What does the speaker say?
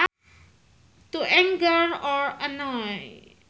To anger or annoy